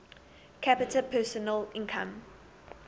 capita personal income